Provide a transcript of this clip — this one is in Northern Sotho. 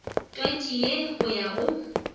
twatši ye go ya go